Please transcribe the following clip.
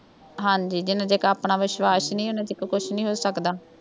ਹਾਂਜੀ ਜਿੰਨ੍ਹਾ ਚਿਕਰ ਆਪਣਾ ਵਿਸ਼ਵਾਸ਼ ਨਹੀਂ ਉੱਨਾ ਚਿਕਰ ਕੁੱਛ ਨਹੀਂ ਹੋ ਸਕਦਾ